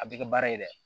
A bɛ kɛ baara ye dɛ